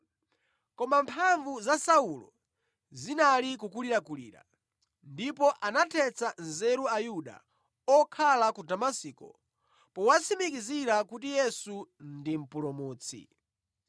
Koma mphamvu za Saulo zinali kukulirakulira ndipo anathetsa nzeru Ayuda okhala ku Damasiko powatsimikizira kuti Yesu ndi Mpulumutsi.